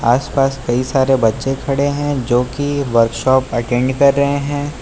आस पास कई सारे बच्चे खड़े है जो कि वर्कशॉप अटेंड कर रहे हैं।